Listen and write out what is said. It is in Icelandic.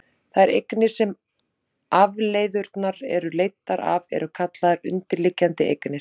þær eignir sem afleiðurnar eru leiddar af eru kallaðar undirliggjandi eignir